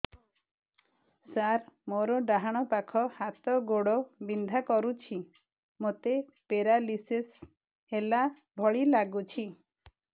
ସାର ମୋର ଡାହାଣ ପାଖ ହାତ ଗୋଡ଼ ବିନ୍ଧା କରୁଛି ମୋତେ ପେରାଲିଶିଶ ହେଲା ଭଳି ଲାଗୁଛି